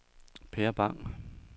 Per Bang